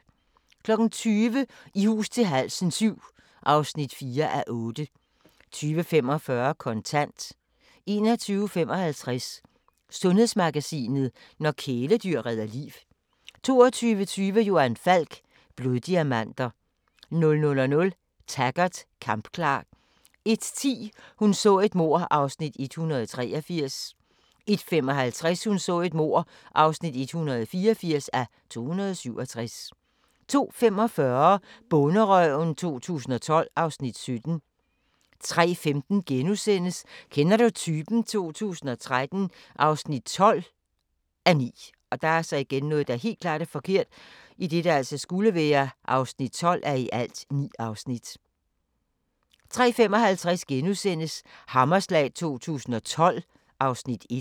20:00: I hus til halsen VII (4:8) 20:45: Kontant 21:55: Sundhedsmagasinet: Når kæledyr redder liv 22:20: Johan Falk: Bloddiamanter 00:00: Taggart: Kampklar 01:10: Hun så et mord (183:267) 01:55: Hun så et mord (184:267) 02:45: Bonderøven 2012 (Afs. 17) 03:15: Kender du typen? 2013 (12:9)* 03:55: Hammerslag 2012 (Afs. 1)*